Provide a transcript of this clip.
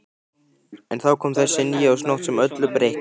En þá kom þessi nýársnótt sem öllu breytti.